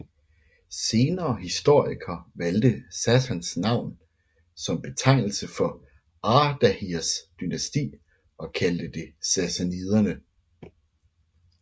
Senere historikere valgte Sassans navn som betegnelse for Ardahirs dynasti og kaldte det sassaniderne